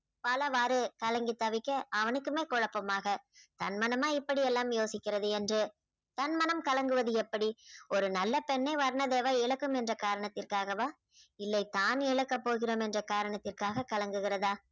பலவாரு கலங்கி தவிக்க அவனுக்குமே குழப்பமாக தன் மனமா இப்படி எல்லாம் யோசிக்கிறது என்று தன் மனம் கலங்குவது எப்படி ஒரு நல்ல பெண்ணை வர்ணதேவா இழக்கும் என்ற காரணத்திற்காகவா? இல்லை தாம் இழக்க போகிறோம் என்ற காரணத்திற்காக கலங்குகிறதா?